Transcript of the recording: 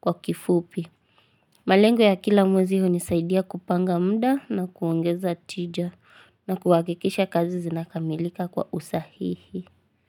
kwa kifupi. Malengo ya kila mwezi hunisaidia kupanga muda na kuongeza tija na kuhakikisha kazi zinakamilika kwa usahihi.